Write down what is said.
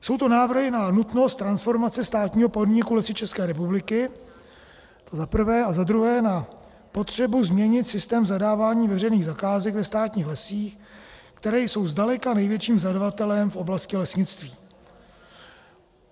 Jsou to návrhy na nutnost transformace státního podniku Lesy České republiky, to za prvé, a za druhé na potřebu změnit systém zadávání veřejných zakázek ve státních lesích, které jsou zdaleka největším zadavatelem v oblasti lesnictví.